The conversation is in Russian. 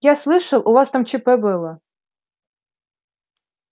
я слышал у вас там чп было